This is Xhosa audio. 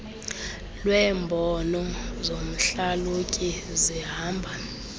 lweembono zomhlalutyi zihamba